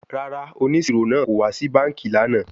Rara, oniṣiro naa ko wa si banki lana